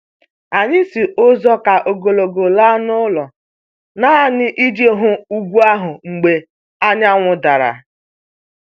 Anyị si ụzọ ka ogologo laa n'ụlọ nanị iji hụ ugwu ahụ mgbe anyanwụ dara